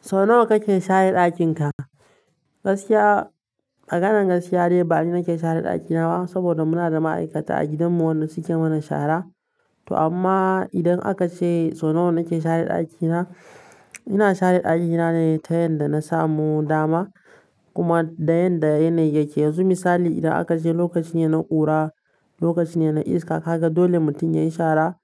So nawa kake share ɗakin ka? Gaskiya a maganan gaskiya dai ba ni nake share ɗaki na ba saboda muna da ma'aikata a gidanmu wanda suke mana shara. To amma idan aka ce so nawa nake share ɗaki na, ina share ɗaki na ne ta yanda na samu dama kuma da yanda yanayi yake. Yanzu misali idan aka ce lokaci ne na ƙura, lokaci ne na iska, kaga dole mutum yayi shara